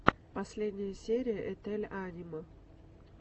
последняя серия етель анима